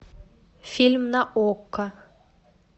фильм на окко